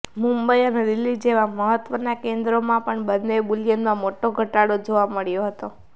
મુંબઈ અને દિલ્હી જેવાં અન્ય મહત્ત્વનાં કેન્દ્રોમાં પણ બન્ને બુલિયનમાં મોટો ઘટાડો જોવા મળ્યો હતો